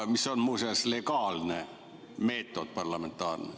See on muuseas legaalne meetod, parlamentaarne.